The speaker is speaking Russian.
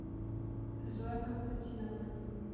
зоя константиновна